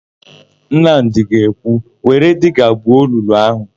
Nnamdị ga-ekwu, "Were diga gwuo olulu áhụ̀"!